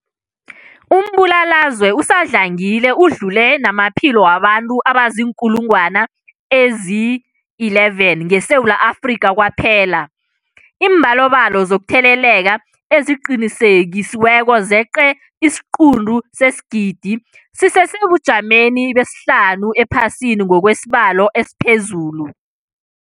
Umbulalazwe usadlangile udlule namaphilo wabantu abaziinkulungwana ezi-11 ngeSewula Afrika kwaphela. Iimbalobalo zokutheleleka eziqinisekisiweko zeqe isiquntu sesigidi, sisesebujameni besihlanu ephasini ngokwesibalo esiphezulu.